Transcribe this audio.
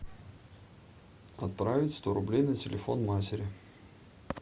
отправить сто рублей на телефон матери